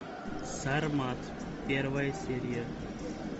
сармат первая серия